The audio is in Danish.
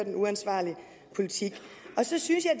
en uansvarlig politik og så synes jeg